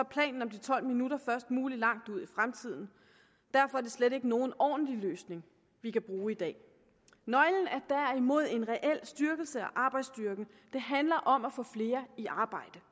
planen om de tolv minutter først mulig langt ude i fremtiden derfor er det slet ikke nogen ordentlig løsning vi kan bruge i dag nøglen er derimod en reel styrkelse af arbejdsstyrken det handler om at få flere i arbejde